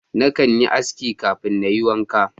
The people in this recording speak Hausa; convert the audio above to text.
Na kan yi aski kafin Na yi wanka.